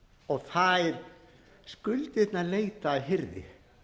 og þær skuldirnar leita að hirði